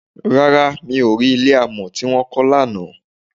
Rárá, mi ò rí Ilé amọ̀ tí wọ́n kàn lánàá.